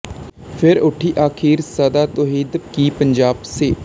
ਫਿਰ ਉੱਠੀ ਆਖ਼ਿਰ ਸਦਾ ਤੌਹੀਦ ਕੀ ਪੰਜਾਬ ਸੇ